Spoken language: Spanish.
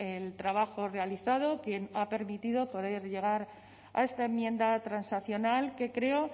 el trabajo realizado que ha permitido poder llegar a esta enmienda transaccional que creo